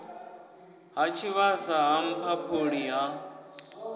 ha tshivhasa ha mphaphuli ha